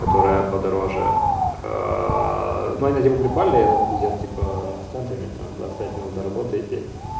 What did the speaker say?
которая подороже но они типо прикольные но пиздец типа станция метро двадцать пять минут до работы идти